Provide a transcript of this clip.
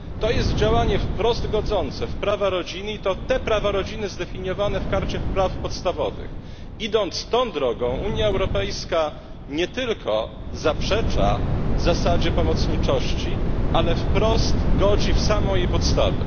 To jest działanie wprost godzące w prawa rodziny, i to te prawa rodziny zdefiniowane w Karcie praw podstawowych. Idąc tą drogą, Unia Europejska nie tylko zaprzecza zasadzie pomocniczości, ale wprost godzi w samą jej podstawę.